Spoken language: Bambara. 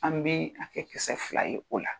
An bi a kɛ kisɛ fila ye o la.